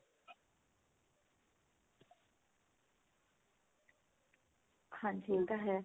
ਹਾਂਜੀ ਇਹ ਤਾਂ ਹੈ